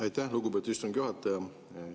Aitäh, lugupeetud istungi juhataja!